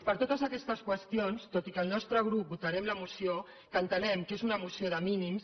per totes aquestes qüestions tot i que el nostre grup votarem la moció entenem que és una moció de mínims